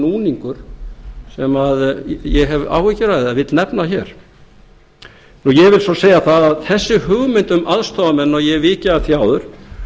núningur sem ég hef áhyggjur af eða vil nefna hér ég vil svo segja það að þessi hugmynd um aðstoðarmenn og ég hef vikið að því áður